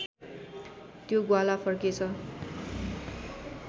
त्यो ग्वाला फर्केछ